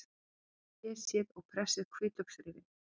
Flysjið og pressið hvítlauksrifin.